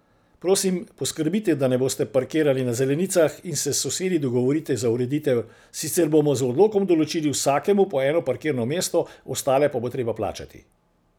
Prosim, poskrbite, da ne boste parkirali na zelenicah in se s sosedi dogovorite za ureditev, sicer bomo z odlokom določili vsakemu po eno parkirno mesto, ostale pa bo treba plačati.